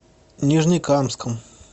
нижнекамском